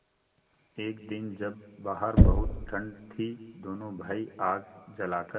एक दिन जब बाहर बहुत ठंड थी दोनों भाई आग जलाकर